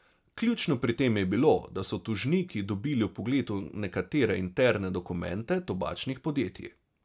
Ključno pri tem je bilo, da so tožniki dobili vpogled v nekatere interne dokumente tobačnih podjetij.